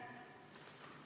Aitäh!